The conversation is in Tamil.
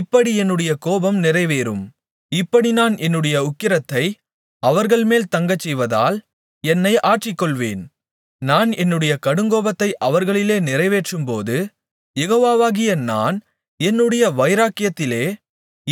இப்படி என்னுடைய கோபம் நிறைவேறும் இப்படி நான் என்னுடைய உக்கிரத்தை அவர்கள்மேல் தங்கச்செய்வதால் என்னை ஆற்றிக்கொள்வேன் நான் என்னுடைய கடுங்கோபத்தை அவர்களிலே நிறைவேற்றும்போது யெகோவாகிய நான் என்னுடைய வைராக்கியத்திலே